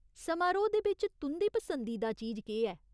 समारोह् दे बिच्च तुं'दी पसंदीदा चीज केह् ऐ ?